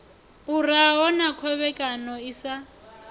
uraho na khovhekano i sa